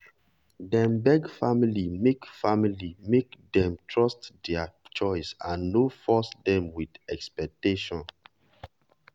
dem beg family make family make dem trust their choice and no force dem with expectation.